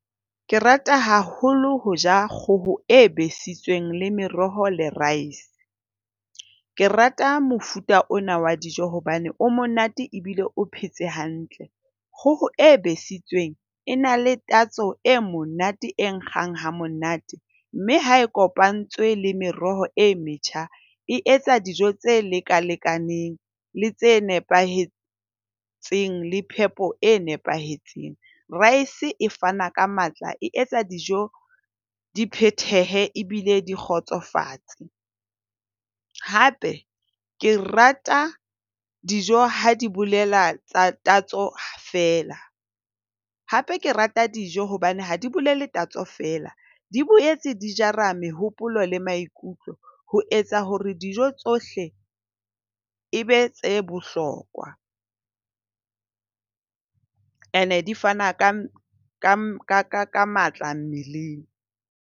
Ke rata haholo ho ja kgoho e besitsweng le meroho le rice. Ke rata mofuta ona wa dijo hobane o monate ebile o phetse hantle. Kgoho e besitsweng e na le tatso e monate e nkgang ha monate, mme ha e kopantse le meroho e metjha e etsa dijo tse lekalekaneng le tse nepahetseng le phepo e nepahetseng. Rice e fana ka matla, e etsa dijo di phethehe ebile di kgotsofatse. Hape ke rata dijo ha di bolela tsa tatso fela hape ke rata dijo hobane ha di bolele tatso feela. Di boetse di jara mehopolo le maikutlo ho etsa hore dijo tsohle ebe tse bohlokwa. Ene di fana ka matla mmeleng.